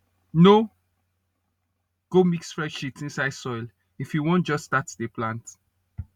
no go mix fresh shit inside soil if you wan just start dey plant